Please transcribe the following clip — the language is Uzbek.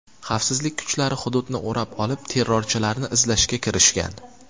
Xavfsizlik kuchlari hududni o‘rab olib, terrorchilarni izlashga kirishgan.